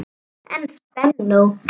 En spennó!